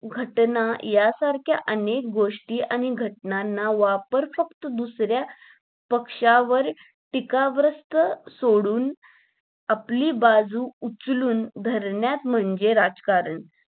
घटना या सारख्य अनेक गोष्टी आणि घटनांना वापर फक्त दुसऱ्या पक्षावर टीका ग्रस्त सोडून आपली बाजू उचलून धरण्यात म्हणजे, राजकारण.